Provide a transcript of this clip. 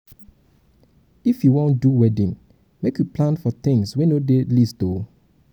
if you um wan do wedding make you plan for tins wey no dey list o.